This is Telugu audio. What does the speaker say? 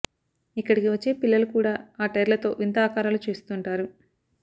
ఇక్కడికి వచ్చే పిల్లలు కూడా ఆ టైర్లతో వింత ఆకారాలు చేస్తుంటారు